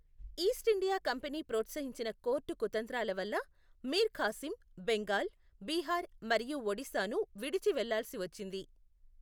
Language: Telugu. ఈస్టిండియా కంపెనీ ప్రోత్సహించిన కోర్టు కుతంత్రాల వల్ల మీర్ ఖాసిం బెంగాల్, బీహార్ మరియు ఒడిశాను విడిచి వెళ్లాల్సి వచ్చింది.